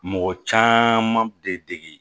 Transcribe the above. Mɔgɔ caman de degi